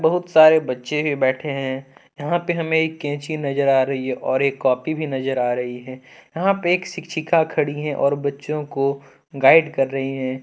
बहुत सारे बच्चे भी बैठे हैं। यहां पे हमें एक कैंची नजर आ रही है और एक कॉपी भी नजर आ रही है यहां पे एक शिक्षिका खड़ी है और बच्चों को गाइड कर रही हैं।